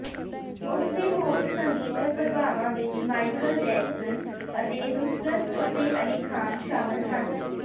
ਉਸਦੇ ਹੋਰ ਸੰਗੀਤਕ ਪ੍ਰਭਾਵਾਂ ਵਿੱਚ ਮਾਈਕਲ ਜੈਕਸਨ ਅਤੇ ਨੁਸਰਤ ਫਤਿਹ ਅਲੀ ਖਾਨ ਸ਼ਾਮਲ ਹਨ